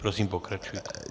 Prosím, pokračujte.